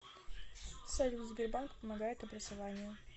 салют сбербанк помогает образованию